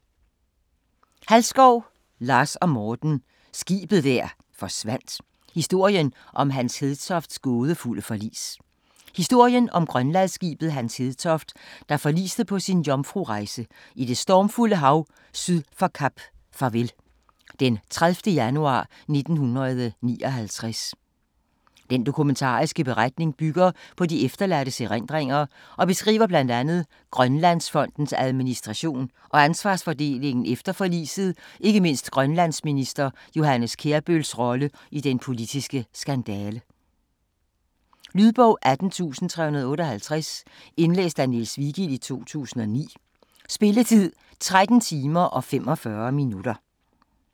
Halskov, Lars & Morten: Skibet der forsvandt: historien om Hans Hedtofts gådefulde forlis Historien om grønlandsskibet Hans Hedtoft, der forliste på sin jomfrurejse i det stormfulde hav syd for Kap Farvel den 30. januar 1959. Den dokumentariske beretning bygger på de efterladtes erindringer og beskriver bl.a. Grønlandsfondens administration og ansvarsfordelingen efter forliset ikke mindst grønlandsminister Johannes Kjærbøls rolle i den politiske skandale. Lydbog 18358 Indlæst af Niels Vigild, 2009. Spilletid: 13 timer, 45 minutter.